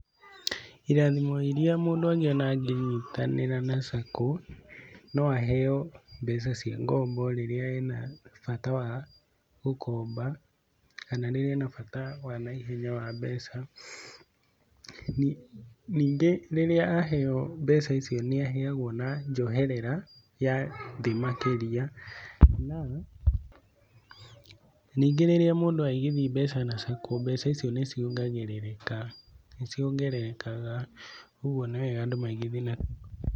Irathimo iria mũndũ angĩona angĩnyitanĩra na sacco no aheo mbeca cia ngombo rĩrĩa ena bata wa gũkomba kana rĩrĩa ena bata wa naihenya wa mbeca, ningĩ rĩrĩa aheo mbeca icio nĩ aheagwo na njoherera ya thĩ makĩria, ningĩ rĩrĩa mũndũ agithia mbeca na sacco mbeca in icio nĩ ciongerekaga ũguo nĩ wega andũ maigithie na sacco.